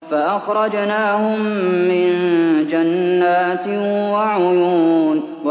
فَأَخْرَجْنَاهُم مِّن جَنَّاتٍ وَعُيُونٍ